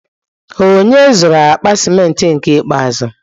Onye zụru akpa cimenti nke ikpeazụ?